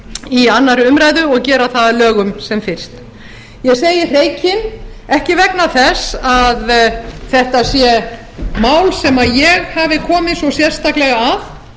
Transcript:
í annarri umræðu og gera það að lögum sem fyrst ég segi hreykin ekki vegna þess að þetta sé mál sem ég hafi komið svo sérstaklega að